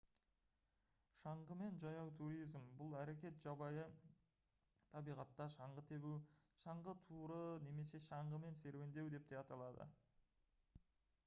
шаңғымен жаяу туризм бұл әрекет жабайы табиғатта шаңғы тебу шаңғы туры немесе шаңғымен серуендеу деп те аталады